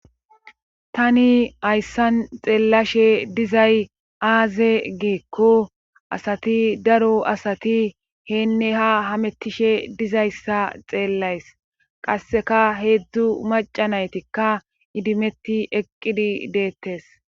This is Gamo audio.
Tani ayssan xeellashe dizay aaze giikko asati daro asati heenne ha hamettishe dizayssa xeellays qasseka heedzdzu macanaytikka idimetti eqqidi deettes.